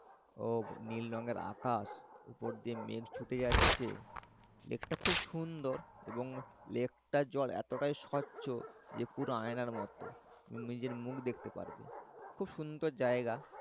ও নীল রঙের আকাশ উপর দিয়ে মেঘ ছুটে যাচ্ছে। লেকটা খুব সুন্দর এবং লেক্তার জল এতটাই স্বচ্ছ যে পুরো আয়নার মত। নিজের মুখ দেখতে পারবে। খুব সুন্দর জায়গা।